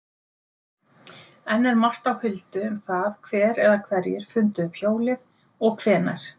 Enn er margt á huldu um það hver eða hverjir fundu upp hjólið og hvenær.